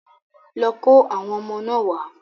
Lọ kó àwọn ọmọ náà wá.